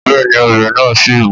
Bẹ́ẹ̀ni, ọ̀bẹ náà ṣì mú